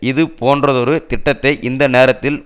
இது போன்றதொரு திட்டத்தை இந்த நேரத்தில்